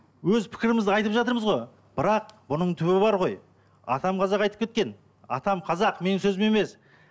өз пікірімізді айтып жатырмыз ғой бірақ бұның түбі бар ғой атам қазақ айтып кеткен атам қазақ менің сөзім емес